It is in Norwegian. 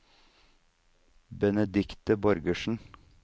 Benedicte Borgersen